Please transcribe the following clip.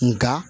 Nka